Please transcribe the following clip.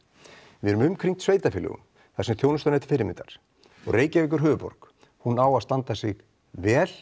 við erum umkringd sveitarfélögum þar sem þjónustan er til fyrirmyndar og Reykjavík er höfuðborg hún á að standa sig vel